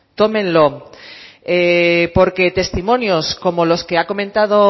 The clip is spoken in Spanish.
tómenlo porque testimonios como los que ha comentado